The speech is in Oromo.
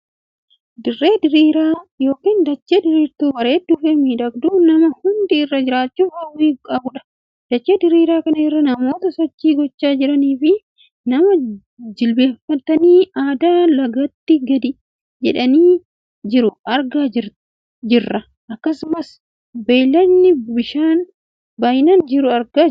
Dirree diriiraa ykn dachee diriirtuu bareedduu fi miidhagduu namni hundi irra jiraachuuf Hawaii qabudha. dachee diriiraa kana irra namoota sochii gochaa jiranii fi nama jilbeenfatee addaan lagatti gadi jedheen jiruu argaa jirta. akkasumas hayilaandii bishaanii baay'inaan jiru argaa jirraam!